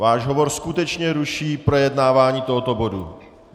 Váš hovor skutečně ruší projednávání tohoto bodu.